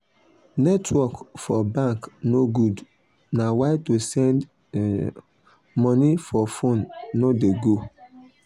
netwrok for bank no good na why to send money for fone no de go